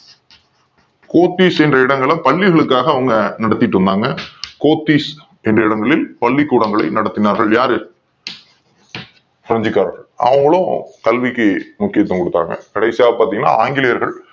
கோத்தீஷ் அப்படின்ற இடங்களை பள்ளி களுக்காக அவங்க நடத்திட்டு வந்தாங்க கோத்திஸ் என்கிற இடங்களில் பள்ளிக்கூடங்களை நடத்தினார்கள் யாரு பிரெஞ்சுக் காரர்கள் அதன் மூலம் கல்விக்கு முக்கியத் துவம் கொடுத் தார்கள் கடைசியா பாத்தீங்கன்னா ஆங்கிலேயர்கள்